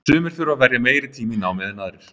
Sumir þurfa að verja meiri tíma í námið en aðrir.